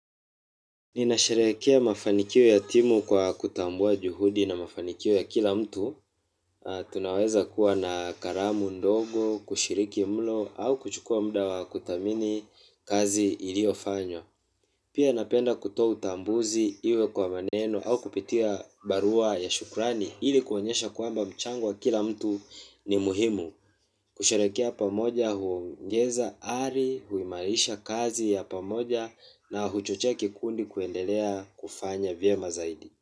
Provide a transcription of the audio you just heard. Ninasherehekea mafanikio ya timu kwa kutambua juhudi na mafanikio ya kila mtu. Tunaweza kuwa na karamu ndogo, kushiriki mlo, au kuchukua mda wa kuthamini kazi iliofanyo. Pia napenda kutoa utambuzi iwe kwa maneno au kupitia barua ya shukrani. Hili kuonyesha kwamba mchango wa kila mtu ni muhimu. Kusherehekea pamoja huongeza ari, huimarisha kazi ya pamoja na huchochea kikundi kuendelea kufanya vyema zaidi.